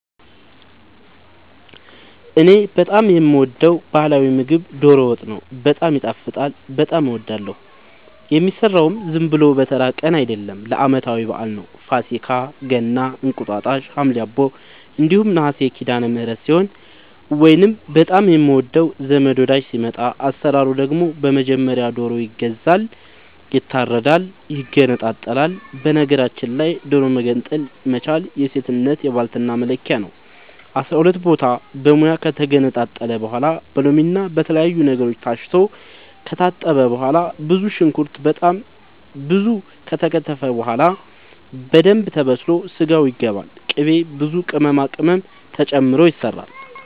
እኔ በጣም የምወደው በህላዊ ምግብ ዶሮ ወጥ ነው። በጣም ይጣፍጣል በጣም አወዳለሁ። የሚሰራውም ዝም ብሎ በተራ ቀን አይደለም ለአመታዊ በአል ነው። ፋሲካ ገና እንቁጣጣሽ ሀምሌ አቦ እንዲሁም ነሀሴ ሲዳለምህረት ሲሆን ወይንም በጣም የምንወደው ዘመድ ወዳጅ ሲመጣ። አሰራሩ ደግሞ በመጀመሪያ ዶሮ ይገዛል ይታረዳል ይገነጣጠላል በነገራችል ላይ ዶሮ መገንጠል መቻል የሴትነት የባልትና መለኪያ ነው። አስራሁለት ቦታ በሙያ ከተገነጣጠለ በኋላ በሎምና በተለያዩ ነገሮች ታስቶ ከታጠበ በኋላ ብዙ ሽንኩርት በጣም ብዙ ከተከተፈ በኋላ በደንብ ተበስሎ ስጋው ይገባል ቅቤ ብዙ ቅመማ ቅመም ተጨምሮ ይሰራል